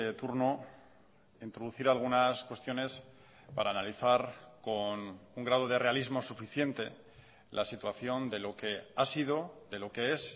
turno introducir algunas cuestiones para analizar con un grado de realismo suficiente la situación de lo que ha sido de lo que es